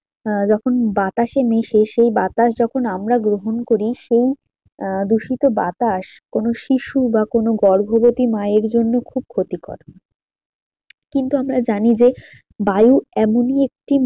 আহ যখন বাতাসে মেশে বাতাস যখন আমরা গ্রহণ করি সেই আহ দূষিত বাতাস কোনো শিশু বা কোনো গর্ভবতী মায়ের জন্য খুব ক্ষতিকর কিন্তু আমরা জানি যে বায়ু এমনি একটি